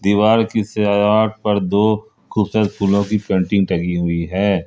दीवार की सजावट पर दो खूबसूरत फूलों की पेंटिंग टंगी हुई है।